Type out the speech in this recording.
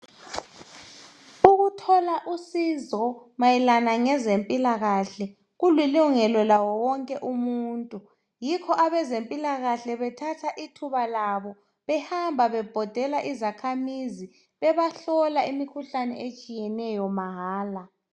Ukuthola usizo mayelana ngezempilakahle kulilungelo laye wonke umuntu. Yikho abazempilakahle bethatha ithuba labo behamba bebhoda kuzakhamizi bebahlola imikhuhlane etshiyeneyo mahala.